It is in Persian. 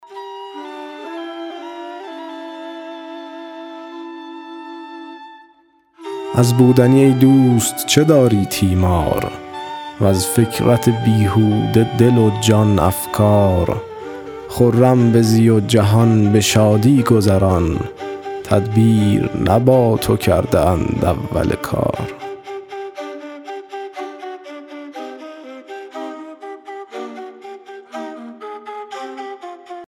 از بودنی ای دوست چه داری تیمار وز فکرت بیهوده دل و جان افکار خرم بزی و جهان به شادی گذران تدبیر نه با تو کرده اند اول کار